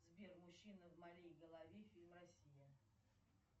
сбер мужчина в моей голове фильм россия